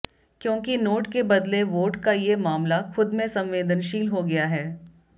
क्योंकि नोट के बदले वोट का ये मामला खुद में संवेदनशील हो गया है